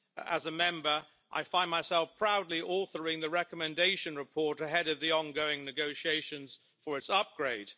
as a Member I find myself proudly authoring the recommendation report ahead of the ongoing negotiations for its upgrade.